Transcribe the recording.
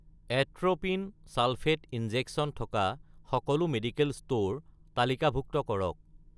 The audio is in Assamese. এট্ৰ'পিন ছালফেট ইনজেকচন থকা সকলো মেডিকেল ষ্ট'ৰ তালিকাভুক্ত কৰক